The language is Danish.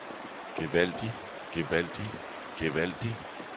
gevaldig gevaldig gevaldig